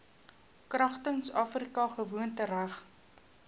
kragtens afrika gewoontereg